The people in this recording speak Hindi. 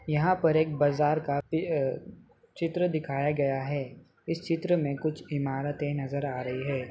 यहाँ पर एक बाजार का चित्र दिखया गया है इस चित्र में कुछ इमारते नजर आ रही हैं।